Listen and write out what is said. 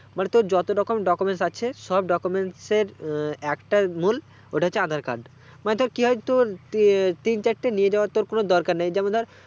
মানে তোর যত রকম documents আছে সব documents এর একটাই মূল ওটা হচ্ছে aadhar card মানে তোর কি হয় তোর ইয়ে তিন-চারটে নিয়ে যাবার তোর কোনো দরকার নেই